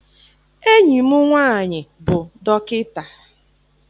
Enyi m nwaanyị bụ dọkịta.